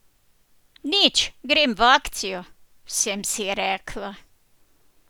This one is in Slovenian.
Nič, grem v akcijo, sem si rekla.